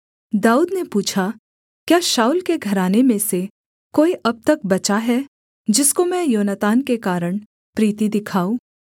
दाऊद ने पूछा क्या शाऊल के घराने में से कोई अब तक बचा है जिसको मैं योनातान के कारण प्रीति दिखाऊँ